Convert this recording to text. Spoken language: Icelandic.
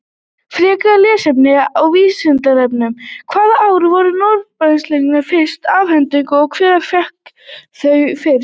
Frekara lesefni á Vísindavefnum: Hvaða ár voru Nóbelsverðlaunin fyrst afhent og hver fékk þau fyrst?